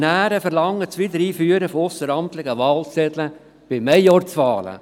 Die Motionäre verlangen das Wiedereinführen von ausseramtlichen Wahlzetteln bei Majorzwahlen.